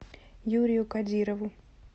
юрию кодирову